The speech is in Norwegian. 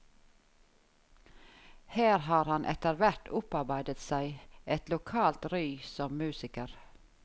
Her har han etterhvert opparbeidet seg et lokalt ry som musiker.